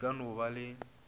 di ka no ba le